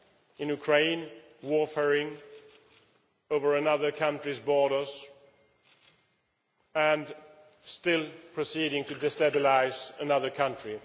in Ukraine, warmongering over another country's borders and still proceeding to destabilise another country.